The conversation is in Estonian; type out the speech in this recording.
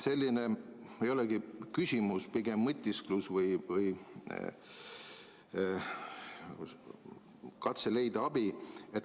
See ei olegi küsimus, pigem mõtisklus või katse leida abi.